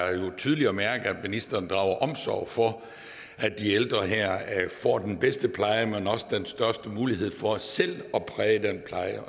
er tydeligt at ministeren drager omsorg for at de ældre får den bedste pleje men også den største mulighed for selv at præge den pleje